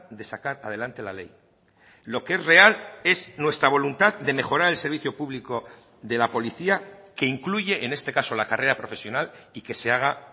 de sacar adelante la ley lo que es real es nuestra voluntad de mejorar el servicio público de la policía que incluye en este caso la carrera profesional y que se haga